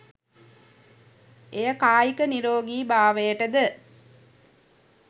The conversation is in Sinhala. එය කායික නිරෝගී භාවයට ද